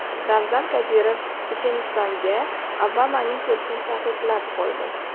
Ramzan Qodirov Chechenistonga Obamaning kelishini taqiqlab qo‘ydi.